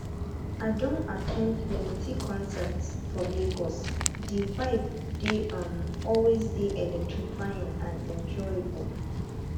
i don at ten d plenty concerts for lagos di vibe dey um always dey electrifying and enjoyable um